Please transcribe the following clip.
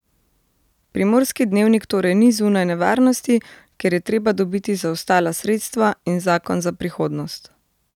Primorski dnevnik torej ni zunaj nevarnosti, ker je treba dobiti zaostala sredstva in zakon za prihodnost.